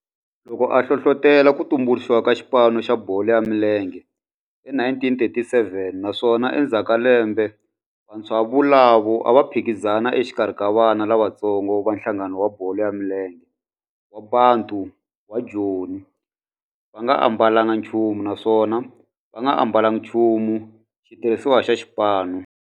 Loko a hlohlotela ku tumbuluxiwa ka xipano xa bolo ya milenge hi 1937 naswona endzhaku ka lembe vantshwa volavo a va phikizana exikarhi ka vana lavatsongo va nhlangano wa bolo ya milenge wa Bantu wa Joni va nga ambalanga nchumu naswona va nga ambalanga nchumu xitirhisiwa xa xipano.